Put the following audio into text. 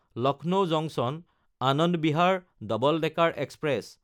Lucknow জাংচন–আনন্দ Bihar terminal double decker express